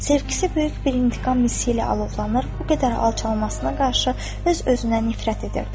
Sevgisi böyük bir intiqam hissi ilə alovlanır, bu qədər alçalmasına qarşı öz özünə nifrət edirdi.